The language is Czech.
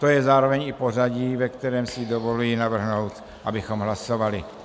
To je zároveň i pořadí, ve kterém si dovoluji navrhnout, abychom hlasovali.